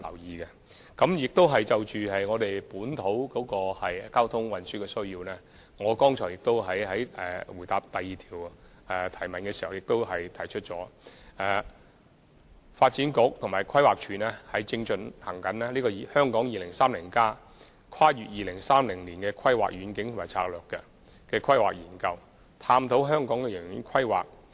此外，就本土交通運輸需求而言，正如我剛才在第二項質詢的主體答覆已提到，發展局和規劃署正制訂《香港 2030+： 跨越2030年的規劃遠景與策略》，探討香港的長遠規劃。